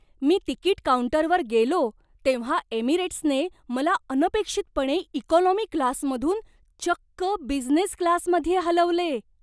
मी तिकीट काऊंटरवर गेलो तेव्हा एमिरेट्सने मला अनपेक्षितपणे इकॉनॉमी क्लासमधून चक्क बिझनेस क्लासमध्ये हलवले!